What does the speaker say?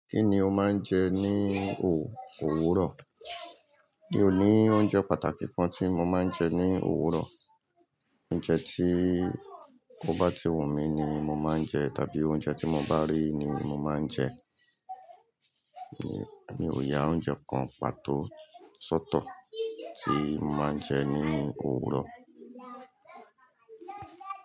Kí ni o máa ń jẹ ní o òwuro? Mi ò ní oúnjẹ pàtàkì kan tí mo máa ń jẹ ní òwúrò. Oúnjẹ tí ko bá ti wù mí ni mo máa ń jẹ tàbí oúnjẹ tí mo bá rí ni mo máa ń jẹ. Mi ò ya oúnjẹ kan pàtó ṣótọ̀ tí màá ń jẹ ní òwúrò.